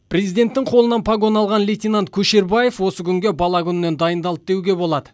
президенттің қолынан погон алған лейтенант көшербаев осы күнге бала күнінен дайындалды деуге болады